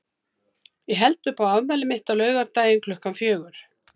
Ég held upp á afmælið mitt á laugardaginn klukkan fjögur.